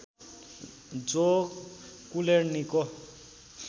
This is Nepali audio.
जो कुलेर्णीको